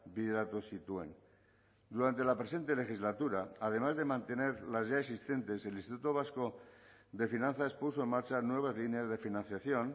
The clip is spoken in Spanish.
bideratu zituen durante la presente legislatura además de mantener las ya existentes el instituto vasco de finanzas puso en marcha nuevas líneas de financiación